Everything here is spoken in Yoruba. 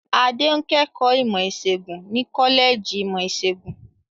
Adé ń kẹ́kọ̀ọ́ ìmọ̀-ìṣègùn ní kọ́lẹ́jì ìmọ̀-ìṣègùn.